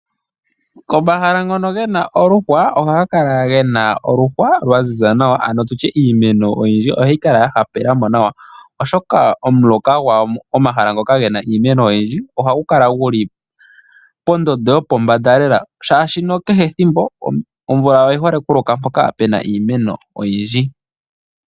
Komahala ngono gena omaluhwa ohaga kala gena oluhwa lwaziza nawa nenge iimeno oyindji ohayi kala yahapela mo nawa, oshoka omuloka gwawo ohagu kala guli poondondo yopombada lela shaashi kehe ethimbo omvula oyi hole okuloka mpoka puna iimeno oyindji.